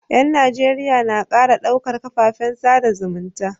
Yan Najeriya na kara ɗaukar kafafen sada zumunta